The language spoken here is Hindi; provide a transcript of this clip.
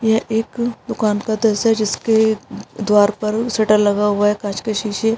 यह एक दुकान का दॄश्य है जिसके द्वार पर शटर लगा हुआ है कांच के शीशे --